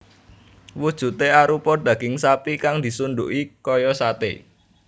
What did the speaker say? Wujudé arupa daging sapi kang disunduki kaya saté